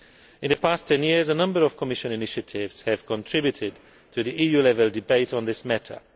In the past ten years, a number of Commission initiatives have contributed to the EU level debate on this matter.